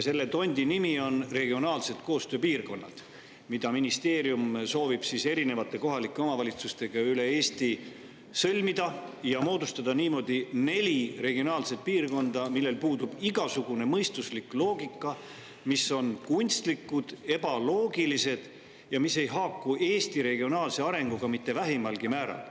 Selle tondi nimi on regionaalsed koostööpiirkonnad, mille ministeerium soovib erinevate kohalike omavalitsustega üle Eesti sõlmida ja moodustada niimoodi neli regionaalset piirkonda, millel puudub igasugune mõistuslik loogika, mis on kunstlikud, ebaloogilised ja mis ei haaku Eesti regionaalse arenguga mitte vähimalgi määral.